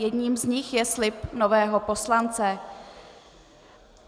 Jedním z nich je slib nového poslance.